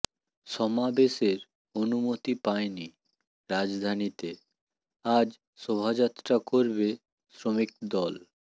সমাবেশের অনুমতি পায়নি রাজধানীতে আজ শোভাযাত্রা করবে শ্রমিক দল